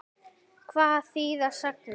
Hvað þýða sagnir?